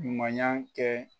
Ɲumanya kɛ.